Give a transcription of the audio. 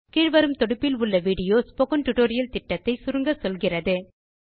கீழ் வரும் தொடுப்பில் உள்ள விடியோ ஸ்போக்கன் டியூட்டோரியல் புரொஜெக்ட் ஐ சுருக்கமாக சொல்லுகிறது